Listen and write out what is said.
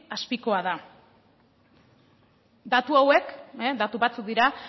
azpikoa da datu hauek datu batzuk dira